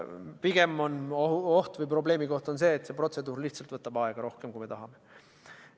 Pigem on oht või probleemikoht see, et see protseduur võtab aega rohkem, kui me tahame.